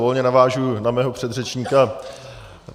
Volně navážu na svého předřečníka.